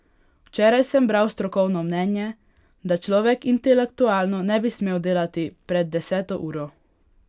Včeraj sem bral strokovno mnenje, da človek intelektualno ne bi smel delati pred deseto uro.